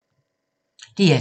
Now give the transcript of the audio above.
DR2